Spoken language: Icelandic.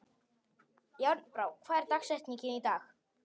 Járnbrá, hver er dagsetningin í dag?